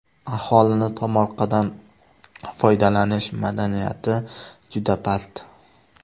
Aholining tomorqadan foydalanish madaniyati juda past.